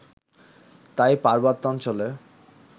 তাই পার্বত্যাঞ্চলে